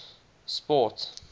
sport